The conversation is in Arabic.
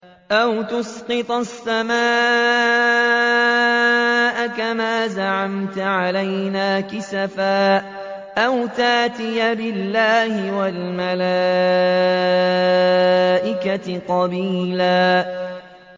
أَوْ تُسْقِطَ السَّمَاءَ كَمَا زَعَمْتَ عَلَيْنَا كِسَفًا أَوْ تَأْتِيَ بِاللَّهِ وَالْمَلَائِكَةِ قَبِيلًا